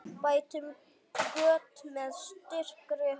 Bætum göt með styrkri hönd.